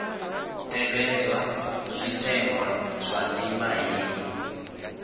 tevhedzwa zwitenwa zwa ndima heyi